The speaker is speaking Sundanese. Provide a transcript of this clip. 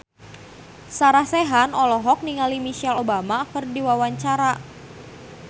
Sarah Sechan olohok ningali Michelle Obama keur diwawancara